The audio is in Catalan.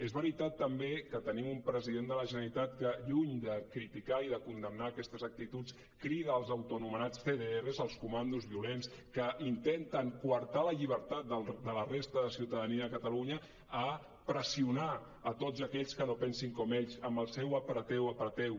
és veritat també que tenim un president de la generalitat que lluny de criticar i de condemnar aquestes actituds crida els autoanomenats cdrs els comandos violents que intenten coartar la llibertat de la resta de ciutadania de catalunya a pressionar tots aquells que no pensin com ells amb el seu apreteu apreteu